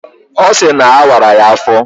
Ọ sịrị na awara ya afọ